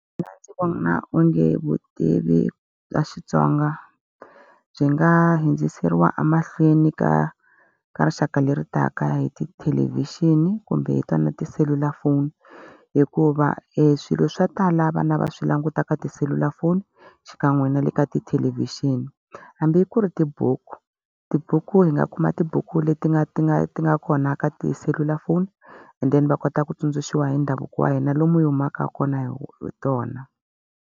Mina ndzi vona onge vutivi bya Xitsonga byi nga hundziseriwa emahlweni ka ka rixaka leritaka hi tithelevhixini kumbe hi twa na tiselulafoni. Hikuva e swilo swo tala vana va swi languta ka tiselulafoni, xikan'we na le ka tithelevhixini. Hambi ku ri tibuku, tibuku hi nga kuma tibuku leti nga ti nga ti nga kona ka tiselulafoni and then va kota ku tsundzuxiwa hi ndhavuko wa hina lomu hi humaka kona hi tona.